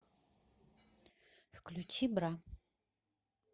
включи бра